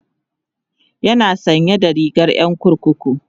yana sanye da rigar Yan kurkuku